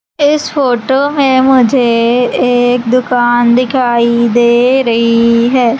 इस फोटो में मुझे एक दुकान दिखाई दे रही है।